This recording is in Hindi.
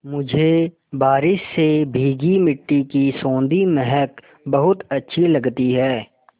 मुझे बारिश से भीगी मिट्टी की सौंधी महक बहुत अच्छी लगती है